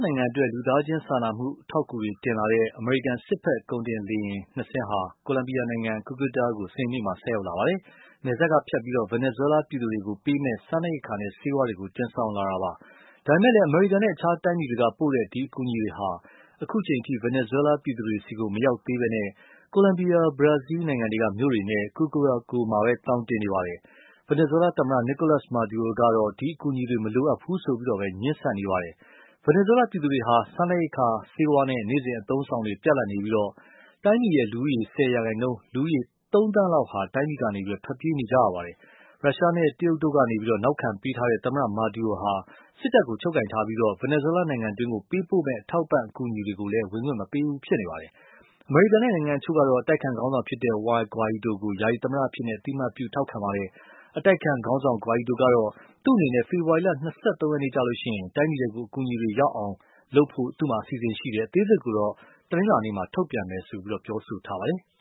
နိုင်ငံအတွက် လူသားချင်းစာနာကူညီမှုအထောက်အကူတွေ တင်လာတဲ့ အမေရိကန် စစ်ဖက်ကုန်တင်လေယာဉ်သုံးစင်းဟာ ကိုလံဘီယာနိုင်ငံ Cucuta ကို စနေနေ့ ကဆိုက်ရောက်ပါတယ်။ နယ်စပ်ကဖြတ်ပြီး Venezuela ပြည်သူတွေကိုပေးမယ့် စားနပ်ရိက္ခာနဲ့ ဆေးဝါးတွေ တင်လာတာပါ။ ဒါပေမယ့် အမေရိကန်နဲ့ အခြားတိုင်းပြည်တွေက ပို့တဲ့ ဒီအကူအညီတွေဟာ အခုအချိန်အထိ Venezuelaပြည်သူတွေဆီကို မရောက်သေးပဲ ကိုလံဘီယာ ဘရားဇီးမြီု့တွေနဲ့ Curacao မှာပဲ သောင်တင်နေပါတယ်။ Venezuela သမ္မတ Nicolas Maduro ကတော့ ဒီအကူညီတွေ မလိုအပ်ဘူးဆိုပြီးတော့ပဲ ငြင်းနေပါတယ်။ Venezuela ပြည်သူတွေဟာ စားနပ်ရိက္ခာ ဆေးဝါးနဲ့ နေ့စဉ်အသုံးအဆောင်တွေ ပြတ်လပ်နေပြီး၊ တိုင်းပြည်ရဲ့ လူဦးရည် ၁၀ ရာခိုင်နှုန်း လူ သုံးသန်းလောက်ဟာ တိုင်းပြည်ကနေ ထွက်ပြေးလာကြပါတယ်။ ရုရှားနဲ့ တရုတ်ကတို့ ထောက်ခံပေးထားတဲ့ သမ္မတ Maduro ဟာ စစ်တပ်ကို ချုပ်ကိုင်ထားပြီး၊ Venezuela နိုင်ငံတွင်း ပေးပို့မယ့် အထောက်အပံ့အကူအညီတွေကို ဝင်ခွင့်မပေးဘူး ဖြစ်နေပါတယ်။ အမေရိကန်နဲ့ နိုင်ငံအချို့ကတော့ အတိုက်အခံခေါင်းဆောင် Juan Guaido ကို ယာယီသမ္မတအဖြစ် အသိအမှတ်ပြု ထောက်ခံထာပါတယ်။ အတိုက်အခံခေါင်းဆောင် Guaido ကတော့ သူ့အနေနဲ့ ဖေဖော်ဝါရီ ၂၃ ရက်မှာ တိုင်းပြည်ထဲ အကူအညီတွေ ရောက်အောက်လုပ်ဖို့ အစီအစဉ်ရှိတယ် အသေးစိတ်ကိုတော့ တနလာၤနေ့မှာ ထုတ်ပြန်မယ်လို့ ပြောထားပါတယ်။